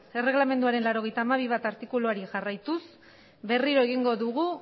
erregelamenduaren laurogeita hamabi puntu bat artikuluari jarraituz berriro egingo dugu